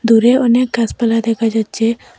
দূরে অনেক গাসপালা দেকা যাচ্চে।